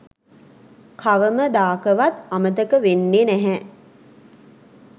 කවම දාකවත් අමතක වෙන්නෙ නැහැ